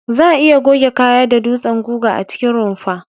Za'a iya goge kaya da dutsen guga a cikin rumfa.